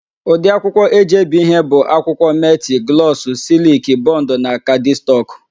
Ụdị akwụkwọ e ji ebi ihe bụ akwụkwọ: metị, glọsụ, sịlịkị, bọndụ na kaadịstọkụ.